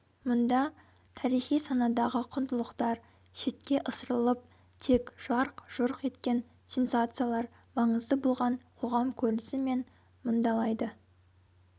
мұнда тарихи санадағы құндылықтар шетке ысырылып тек жарқ-жұрқ еткен сенсациялар маңызды болған қоғам көрінісі мен мұндалайды